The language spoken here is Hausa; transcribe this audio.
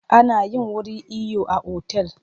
A nayin wuri iyo a otal.